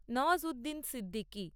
Nawazuddin Siddiqui